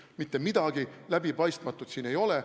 Mitte midagi läbipaistmatut siin ei ole.